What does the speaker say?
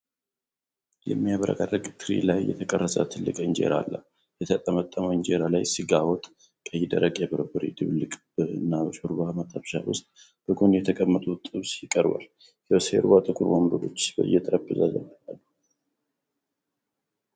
በሚያብረቀርቅ ትሪ ላይ የተቀረጸ ትልቅ እንጀራ አለ። የተጠመጠመው እንጀራ ላይ ስጋ ወጥ፣ ቀይ ደረቅ የበርበሬ ድብልቅ እና በሾርባ መጥበሻ ውስጥ በጎን የተቀመጠ ጥብስ ይቀርባል። ከበስተጀርባ ጥቁር ወንበሮችና የጠረጴዛ ጫፍ አሉ።